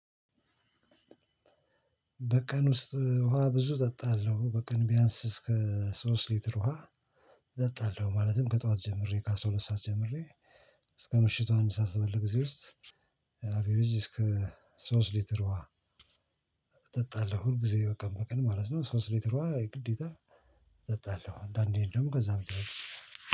በቀን ውስጥ ውሃ ብዙ እጠጣለሁ በቀን ቢያንስ እስከ ሶስት ሊትር ውሃ እጠጣለሁ። ማለትም ከጠዋት ጀምሬ ከ አስራ ሁለት ሰዓት ጀምሬ እስከ ምሽቱ አንድ ሰዓት ባለው ጊዜ እዚህ ውስጥ። አቬሬጅ እስከ ሶስት ሊትር ውሃ እጠጣለሁ። ሁል ጊዜ በቃ በቀን ማለት ነው። ሶስት ሊትሮ ግዴታ እጠጣለሁ። እንደአንዴ ደግሞ ከዛም ለበልጥ ይችላል